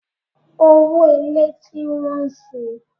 Owó ilé tí ń wọ́n si.